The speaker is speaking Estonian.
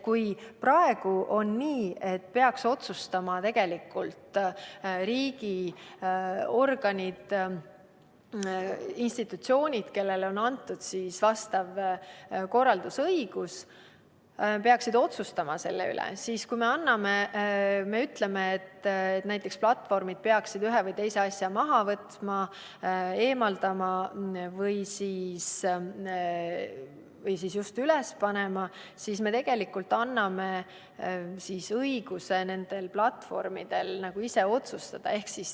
Kui praegu on nii, et otsustama peaksid riigiorganid, institutsioonid, kellele on antud vastav korraldusõigus – nemad peaksid otsustama selle üle –, siis juhul, kui me ütleme, et platvormid peaksid ühe või teise asja maha võtma või hoopis üles panema, siis tegelikult me anname platvormidele õiguse ise otsustada.